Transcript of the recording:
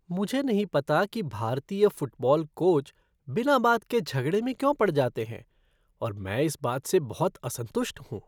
मुझे नहीं पता कि भारतीय फ़ुटबॉल कोच बिना बात के झगड़े में क्यों पड़ जाते हैं और मैं इस बात से बहुत असंतुष्ट हूँ।